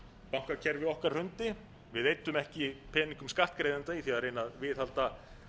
bankakerfi okkar hrundi við eyddum ekki peningum skattgreiðenda í það að reyna að viðhalda